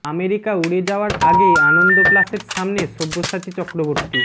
America উড়ে যাওয়ার আগে আনন্দ প্লাসের সামনে সব্যসাচী চক্রবর্তী